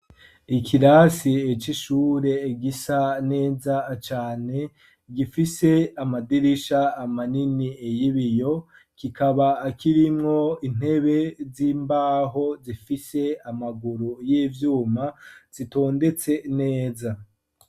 Ikirasi c'ishure gisa neza cane ,gifise amadirisha manini y'ibiyo, kikaba kirimwo intebe z'imbaho zifise amaguru y'ivyuma zitondetse neza.